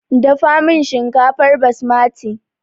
Dafa min shinkafar basmati!